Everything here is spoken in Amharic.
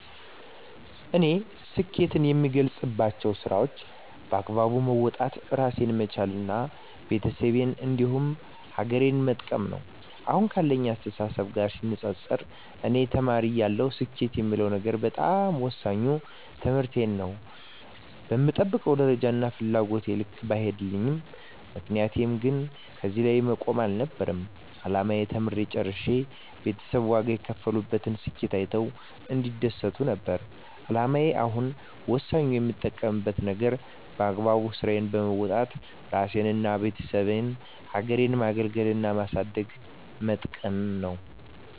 እኔ ስኬትን የምገልፀው ስራዎቸን በአግባቡ መወጣት እራሴን መቻል እና ቤተሰቤን እንዲሁም ሀገሬን መጥቀም ነው። አሁን ካለኝ አስተሳሰብ ጋር ሲነፃፀር እኔ ተማሪ እያለሁ ስኬት የምለው ነገር በጣም ወሳኙ ትምህርቴን ነው በምጠብቀው ደረጃና ፍላጎቴ ልክ ባይሄድም ምክንያቱም እኔ እዚህ ላይ መቆም አልነበረም አላማዬ ተምሬ ጨርሸ ቤተሰብ ዋጋ የከፈሉበትን ስኬቴን አይተው እንዲደሰቱ ነበር አላማዬ አሁን ወሳኙ የምጠብቀው ነገር በአግባቡ ስራዬን በወጣት እራሴንና የቤተሰቤን ሀገሬን ማገልገልና ማሳደግና መጥቀም ነው።